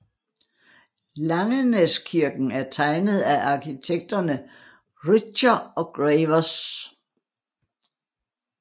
Langenæskirken er tegnet af arkitekterne Richter og Gravers